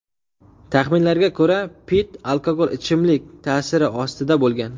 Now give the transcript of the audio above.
Taxminlarga ko‘ra, Pitt alkogol ichimlik ta’siri ostida bo‘lgan.